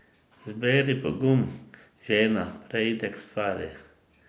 Zberi pogum, žena, preidi k stvari.